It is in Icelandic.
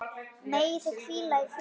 Megið þið hvíla í friði.